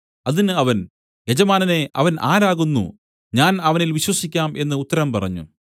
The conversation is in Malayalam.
അതിന് അവൻ യജമാനനേ അവൻ ആരാകുന്നു ഞാൻ അവനിൽ വിശ്വസിക്കാം എന്നു ഉത്തരം പറഞ്ഞു